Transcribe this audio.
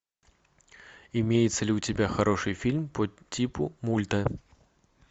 имеется ли у тебя хороший фильм по типу мульта